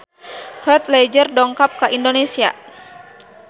Heath Ledger dongkap ka Indonesia